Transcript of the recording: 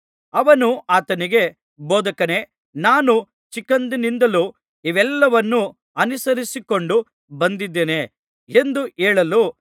ಅವನು ಆತನಿಗೆ ಬೋಧಕನೇ ನಾನು ಚಿಕ್ಕಂದಿನಿಂದಲೂ ಇವೆಲ್ಲವನ್ನೂ ಅನುಸರಿಸಿಕೊಂಡು ಬಂದಿದ್ದೇನೆ ಎಂದು ಹೇಳಲು